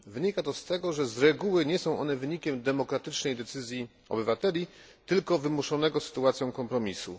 Wynika to z tego, że z reguły nie są one wynikiem demokratycznej decyzji obywateli, tylko wymuszonego sytuacją kompromisu.